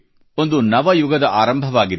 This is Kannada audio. ಒಂದು ನವಯುಗದ ಆರಂಭವಾಗಿದೆ